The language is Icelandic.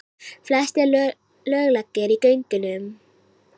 Flestir löglegir í göngunum